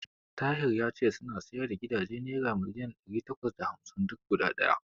Tahir ya ce suna siyar da gidaje naira miliyan ɗari takwas da hamsin duk guda ɗaya.